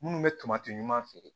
Minnu bɛ tomati ɲuman feere